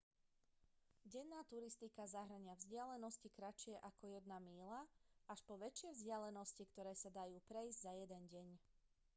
denná turistika zahŕňa vzdialenosti kratšie ako jedna míľa až po väčšie vzdialenosti ktoré sa dajú prejsť za jeden deň